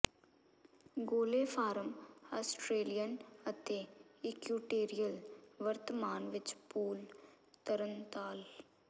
ਗੋਲੇ form Australian ਅਤੇ equatorial ਵਰਤਮਾਨ ਵਿੱਚ ਪੂਲ ਤਰਣਤਾਲ